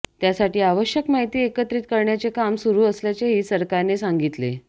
त्यासाठी आवश्यक माहिती एकत्रित करण्याचे काम सुरू असल्याचेही सरकारने सांगितले